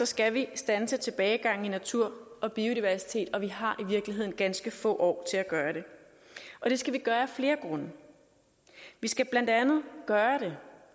skal vi standse tilbagegangen i natur og biodiversitet og vi har i virkeligheden ganske få år til at gøre det og det skal vi gøre af flere grunde vi skal blandt andet gøre det